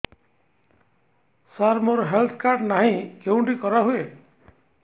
ସାର ମୋର health card ନାହିଁ କେଉଁଠି କରା ହୁଏ